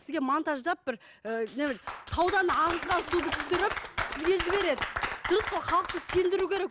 сізге монтаждап бір і таудан ағызған суды түсіріп сізге жібереді дұрыс қой халықты сендіру керек